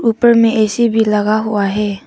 ऊपर में ए_सी भी लगा हुआ है।